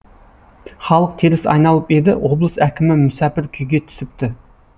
халық теріс айналып еді облыс әкімі мүсәпір күйге түсіпті